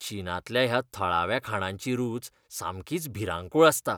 चीनांतल्या ह्या थळाव्या खाणांची रूच सामकीच भिरांकूळ आसता.